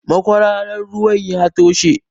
Makwararan ruwan ya toshe.